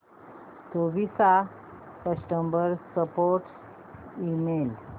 Toshiba चा customer support email